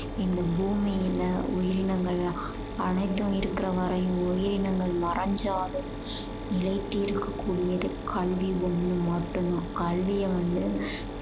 இந்த பூமியில உயிரினங்கள் அனைத்தும் இருக்கற வரையும் உயிரினங்கள் மறஞ்சாலும் நிலைத்து இருக்க கூடியது கல்வி ஒண்ணு மட்டும் தான். கல்விய வந்து